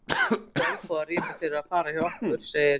Það er nú ekki olnbogarýminu fyrir að fara hjá okkur, segir